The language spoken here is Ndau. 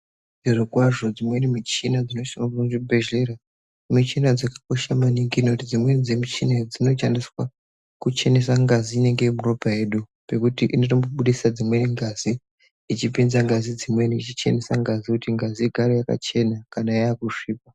Zvirokwazvo dzimweni michina dzinoswavo muzvibhedhlera. Michina dzakakosha maningi nekuti dzimweni dzemichina idzinosha ndiswa kuchenesa ngazi inenge iri muropa yedu. Pekuti inotombo budisa dzimweni ngazi ichipinza ngazi dzimweni ichichenesa ngazi kuti ngazi igare yakachena kana yakusvipa.